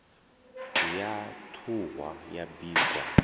ya ṱhuhwa ya bikwa hu